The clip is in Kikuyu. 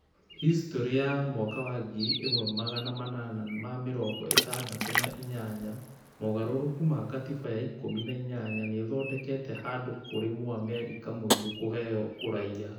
Histrorĩ ya mwaka wa ngiri imwe magana manana ma mĩrongo ĩtandatũ na inyanya- moogarũrũku ma gatiba ya ikũmi na inya nĩthondokete handũ kũrĩ Mũamerika mũirũ kũheo ũraiya